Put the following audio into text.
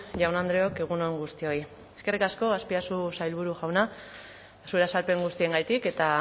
jaun andreok egun on guztioi eskerrik asko azpiazu sailburu jauna zure azalpen guztiengatik eta